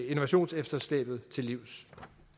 innovationsefterslæbet til livs